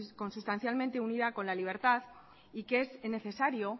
consustancialmente unida con la libertad y que es necesario